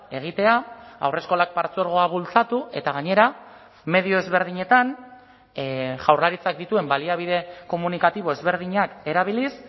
egitea haurreskolak partzuergoa bultzatu eta gainera medio ezberdinetan jaurlaritzak dituen baliabide komunikatibo ezberdinak erabiliz